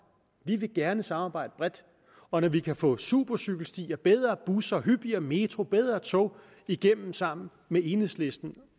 vi vil gerne samarbejde bredt og når vi kan få supercykelstier bedre busser hyppigere metro og bedre tog igennem sammen med enhedslisten